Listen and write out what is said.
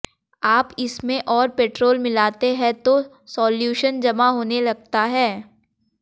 आप इसमें और पेट्रोल मिलाते हैं तो साल्यूशन जमा होने लगता है